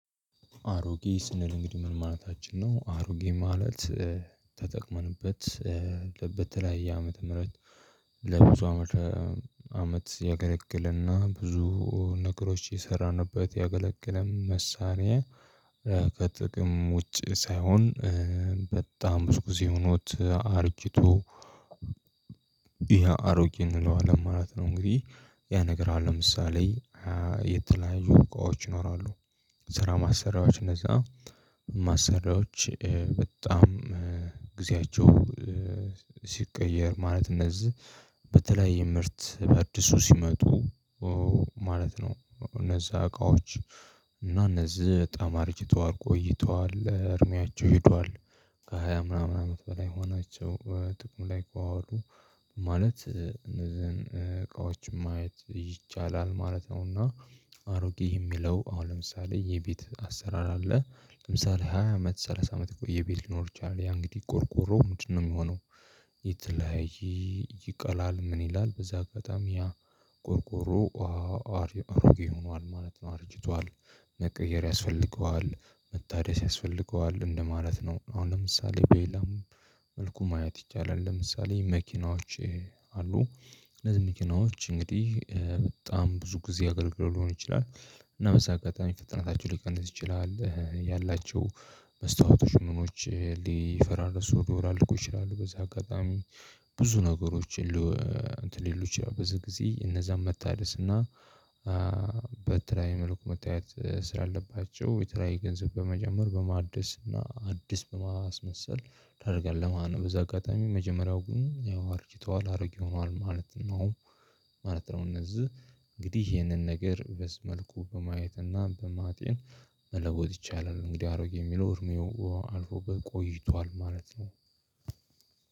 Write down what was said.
አሮጌ ስንል እንግዲህ ምን ማለታችን ነው? አሮጌ ማለት ተጠቅመንበት በተለያየ ዓመተ ምህረት ለብዙ አመት አመት ያገለግልና ብዙ ነገሮች የሰራንበት ያገለገለም መሳሪያ ከጥቅም ውጪ ሳይሆን በጣም ብዙ ጊዜ ሆኖት አርጅቶ ያ አሮጌ እንለዋለን ማለት ነው። እንግዲህ ያ ነገር አለ ለምሳሌ የተለያዩ እቃዎች ይኖራሉ። ስራ ማሰሪያዎች እነዛ ማሰሪያዎች በጣም ጊዜያቸው ሲቀየር ማለት እነዚህ በተለይ ምርት በአዲሱ ሲመጡ ማለት ነው እነዛ እቃዎች እና እነዚህ በጣም አርጅተዋል ቆይተዋል እድሜያቸው ሄዷል። ከሃያ ምናምን አመት በላይ ሆናቸው ጥቅም ላይ ከዋሉ ማለት እነዚህን እቃዎችን ማየት ይቻላል ማለት ነውና። አሮጌ የሚለው አሁን ለምሳሌ የቤት አሰራር አለ። ለምሳሌ ሃያ አመት ሰላሳ አመት ቆየ ቤት ሊኖር ይችላል ያ እንግዲህ ቆርቆሮው ምንድን ነው የሚሆነው? የተለያየ ይቀላል ምን ይላል በዛ አጋጣሚ ያ ቆርቆሮ አሮጌ ሆኗል ማለት ነው። አርጅቷል። መቀየር ያስፈልገዋል መታደስ ያስፈልገዋል እንደማለት ነው። አሁን ለምሳሌ በሌላም መልኩ ማየት ይቻላል። ለምሳሌ መኪናዎች አሉ። እነዚህ መኪናዎች እንግዲህ በጣም ብዙ ጊዜ አገልግሎ ሊሆን ይችላል እና በዚህ አጋጣሚ ፍጥነታቸው ሊቀንስ ይችላል ያላቸው መስታወቶች ምኖች ሊፈራርሱ ሊወላልቁ ይችላሉ በዚህ አጋጣሚ ብዙ ነገሮች። ሌሎች ብዙ ጊዜ እነዛን መታደስ እና በተለየያ መልኩ መታየት ስላለባቸው የተለያየ ገንዘብ በመጨመር በማደስ እና አዲስ በማስመሰል ታርገለህ ማለት ነው። በዚህ አጋጣሚ መጀመሪያው ግን ያው አርጅተዋል አርጌ ሆነዋል ማለት ነው። ማለት ነው እነዚህ እንግዲህ ይሄንን ነገር በዚህ መልኩ በማየት እና በማጤን መለወጥ ይቻላል። እንግዲህ አሮጌ የሚለው እድሜው አልፎበት ቆይቷል ማለት ነው።